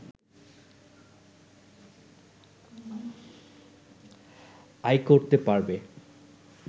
আয় করতে পারবে